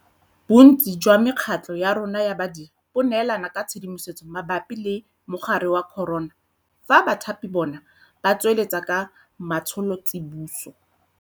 Bontsi jwa mekgatlho ya rona ya badiri bo neelana ka tshedimosetso mabapi le mogare wa corona fa bathapi bona ba tsweletse ka matsholo tsiboso.